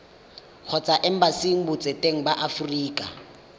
kgotsa embasing botseteng ba aforika